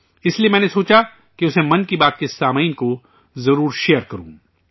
اس لیے میں نے سوچا کہ اسے 'من کی بات' کے سامعین کو ضرور شیئر کروں